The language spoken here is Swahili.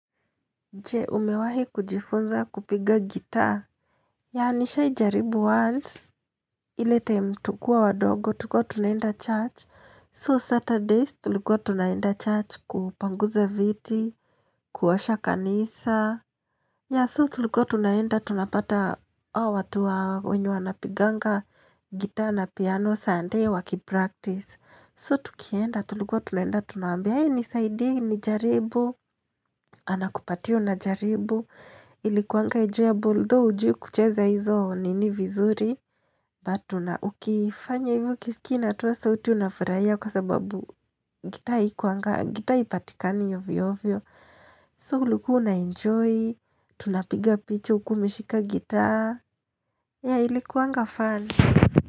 Je, umewahi kujifunza kupiga gitaa? Yeah, nishaijaribu once ile time tukiwa wadogo tulikuwa tunaenda church, So Saturdays tulikuwa tunaenda church kupanguza viti kuosha kanisa, Yeah so tulikuwa tunaenda tunapata hawa watu wenye wanapiganga gitaa na piano sunday wakipractice. So tukienda tulikuwa tunaenda tunawaambia, hey nisaidie nijaribu Anakupatia unajaribu Ilikuanga enjoyable though hujui kucheza hizo nini vizuri But una ukifanya hivyo ukisikia inatoa sauti unafurahia kwa sababu gitaa haipatikani ovyo ovyo. So ulikuwa unaenjoy, tunapiga picha ukiwa umeshika gitaa, yeah ilikuanga fun.